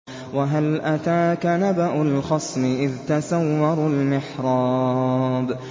۞ وَهَلْ أَتَاكَ نَبَأُ الْخَصْمِ إِذْ تَسَوَّرُوا الْمِحْرَابَ